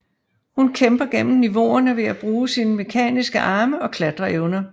Hun kæmper gennem niveauerne ved at bruge sine mekaniske arme og klatreevner